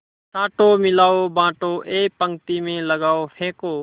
छाँटो मिलाओ बाँटो एक पंक्ति में लगाओ फेंको